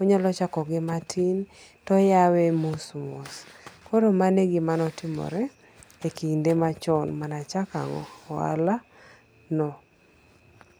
onyalo chako gi matin ti oyawe mos mos koro mano gima ne otimore e kinde machon mane achako ohalano